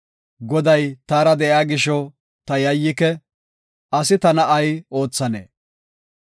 Goday taara de7iya gisho ta yayyike; asi tana ay oothanee?